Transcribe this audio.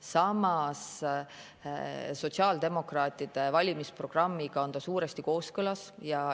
Samas, sotsiaaldemokraatide valimisprogrammiga on ta suuresti kooskõlas.